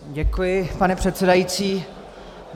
Děkuji, pane předsedající.